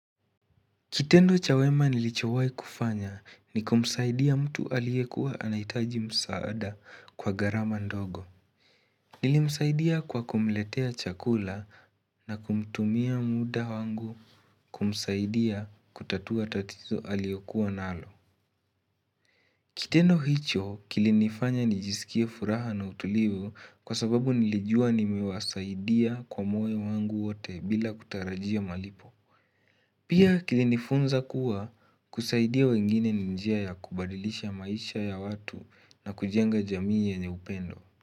Kitendo cha wema nilichowai kufanya ni kumsaidia mtu aliyekuwa anahitaji msaada kwa gharama ndogo Nilimsaidia kwa kumletea chakula na kumtumia muda wangu kumsaidia kutatua tatizo aliyokuwa nalo Kitendo hicho kilinifanya nijisikie furaha na utulivu kwa sababu nilijua nimewasaidia kwa moyo wangu wote bila kutarajia malipo Pia kilinifunza kuwa kusaidia wengine ni njia ya kubadilisha maisha ya watu na kujenga jamii yenye upendo.